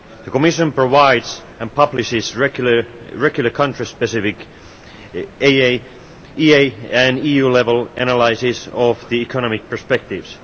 The Commission provides and publishes regular country specific AA, EA and EU level analysis of the economic perspectives.